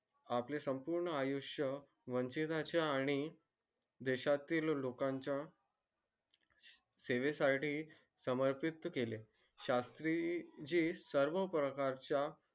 आपले संपूर्ण आयुष्य आणि देशातील लोकांन च्या सेवे साठी समर्पित केले शास्त्री ची सर्व प्रकार च्या